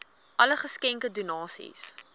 alle geskenke donasies